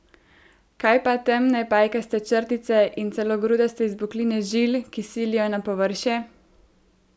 Kaj pa temne pajkaste črtice in celo grudaste izbokline žil, ki silijo na površje?